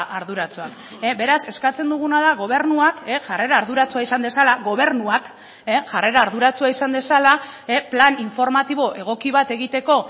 arduratsua beraz eskatzen duguna da gobernuak jarrera arduratsua izan dezala gobernuak jarrera arduratsua izan dezala plan informatibo egoki bat egiteko